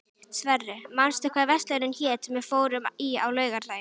Sverre, manstu hvað verslunin hét sem við fórum í á laugardaginn?